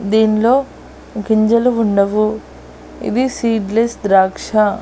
దీన్లో గింజలు ఉండవు ఇది సీడ్లిస్ ద్రాక్ష.